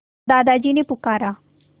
दादाजी ने पुकारा